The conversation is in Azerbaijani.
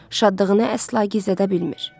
Şadlığını əsla gizlədə bilmir.